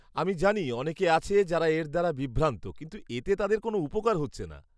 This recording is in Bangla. আমি জানি অনেকে আছে যারা এর দ্বারা বিভ্রান্ত কিন্তু এতে তাদের কোনও উপকার হচ্ছে না।